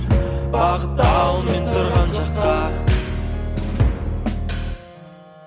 бағыттал мен тұрған жаққа